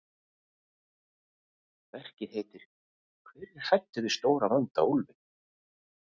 Verkið heitir Hver er hræddur við stóra, vonda úlfinn?